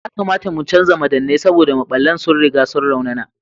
Yakamata mu canza madannai saboda maɓallan sun riga sun raunana.